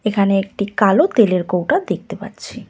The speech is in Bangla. এখানে একটি কালো তেলের কৌটো দেখতে পাচ্ছি।